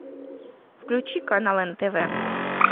включи канал нтв